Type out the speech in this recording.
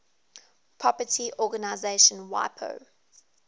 property organization wipo